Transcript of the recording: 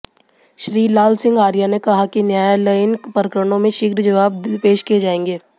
श्री लाल सिंह आर्य ने कहा कि न्यायालयीन प्रकरणों में शीघ्र जवाब पेश किये जायें